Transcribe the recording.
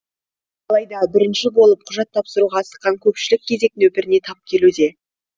алайда бірінші болып құжат тапсыруға асыққан көпшілік кезек нөпіріне тап келуде